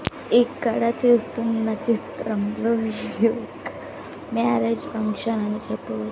ఇక్కడ చూస్తున్న చిత్రంలో మ్యారేజ్ ఫంక్షన్ అని చెప్పవ.